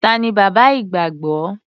Ta ni bàbá ìgbàgbọ́?